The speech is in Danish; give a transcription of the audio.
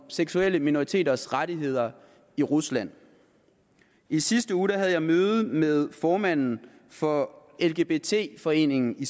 seksuelle minoriteters rettigheder i rusland i sidste uge havde jeg møde med formanden for lgbt foreningen i